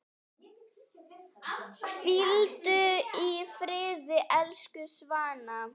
Hvíldu í friði, elsku Svana.